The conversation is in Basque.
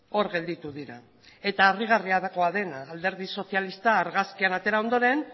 hor gelditu dira eta harrigarriagoa dena alderdi sozialista argazkian atera ondoren